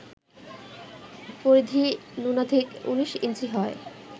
পরিধি ন্যূনাধিক ১৯ ইঞ্চি হয়